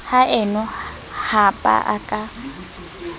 haeno ha ba a ka